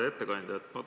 Hea ettekandja!